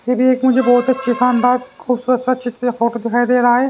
ये भी एक मुझे बहुत अच्छे शानदार खूबसूरत सा चित्र फोटो दिखाई दे रहा है ।